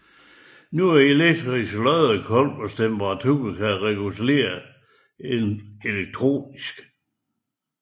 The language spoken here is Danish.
Nogle elektriske loddekolbers temperatur kan reguleres elektronisk